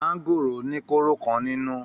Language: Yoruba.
Maangoro ni koro kan nínú.